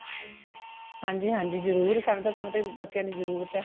ਹਾਂਜੀ ਹਾਂਜੀ ਜਰੂਰ ਸਾਨੂੰ ਤੇ ਸਮਾ ਦੀ ਬੱਚਿਆਂ ਦੀ ਜਰੂਰਤ ਹੈ